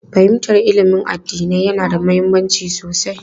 Fahimtar ilimin addinai yana da mahimmanci sosai.